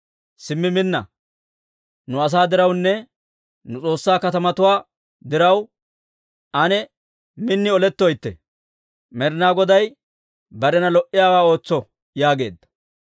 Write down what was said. Simmi minna! Nu asaa dirawunne nu S'oossaa katamatuwaa diraw, ane min olettoytte. Med'inaa Goday barena lo"iyaawaa ootso» yaageedda.